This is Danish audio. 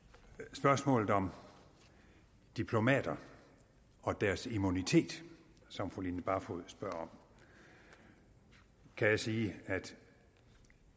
spørgsmålet om diplomater og deres immunitet som fru line barfod spørger om kan jeg sige at